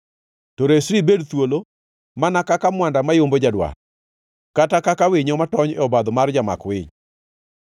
To resri ibed thuolo, mana kaka mwanda mayombo jadwar, kata kaka winyo matony e obadho mar jamak winy.